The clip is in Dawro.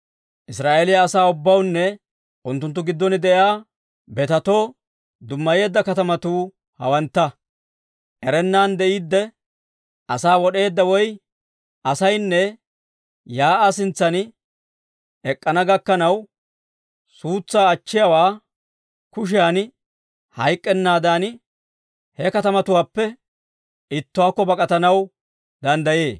Israa'eeliyaa asaa ubbawunne unttunttu giddon de'iyaa betetoo dummayeedda katamatuu hawantta; erennan de'iidde asaa wod'eedda ay asaynne, shiik'uwaa sintsan ek'k'ana gakkanaw, suutsaa achchiyaawaa kushiyan hayk'k'ennaadan, he katamatuwaappe ittuwaakko bak'atanaw danddayee.